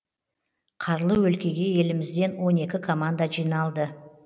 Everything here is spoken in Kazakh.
қарлы өлкеге елімізден он екі команда жиналды